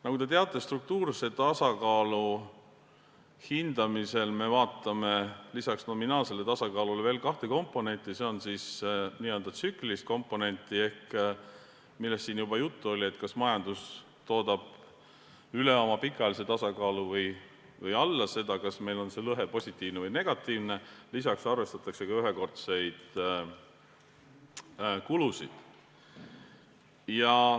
Nagu te teate, struktuurse tasakaalu hindamisel me vaatame lisaks nominaalsele tasakaalule veel kahte komponenti: n-ö tsüklilist komponenti, millest siin juba juttu oli, seda, kas majandus toodab üle oma pikaajalise tasakaalu või alla selle, kas see lõhe on positiivne või negatiivne, lisaks arvestatakse ka ühekordseid kulusid.